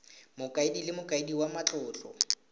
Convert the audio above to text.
mokaedi le mokaedi wa matlotlo